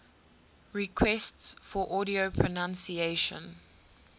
requests for audio pronunciation